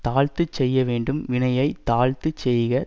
தாழ்த்துச் செய்ய வேண்டும் வினையை தாழ்த்துச் செய்க